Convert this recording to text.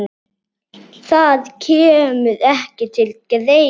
Það kemur ekki til greina!